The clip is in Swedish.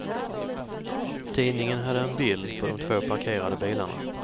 Tidningen hade en bild på de två parkerade bilarna.